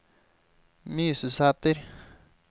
Mysusæter